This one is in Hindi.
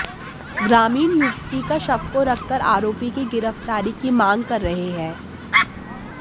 ग्रामीण युवती का शव को रख कर आरोपी की गिरफ्तारी की मांग कर रहे हैं